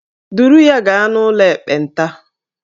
Duru ya gaa n'ụlọ ekpenta!